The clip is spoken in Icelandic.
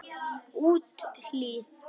Úthlíð